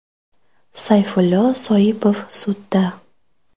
Sayfullo Soipov sudda.